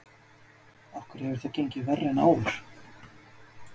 Af hverju hefur það gengið verr en áður?